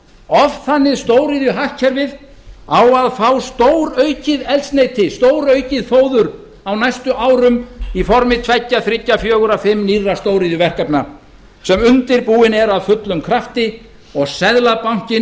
oft þannig stóriðjuhagkerfið á að fá stóraukið eldsneyti stóraukið fóður á næstu árum í formi tveggja þriggja fjögurra fimm nýrra stóriðjuverkefna sem undirbúin eru af fullum krafti og seðlabankinn